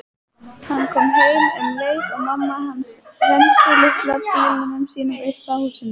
Hann kom heim um leið og mamma hans renndi litla bílnum sínum upp að húsinu.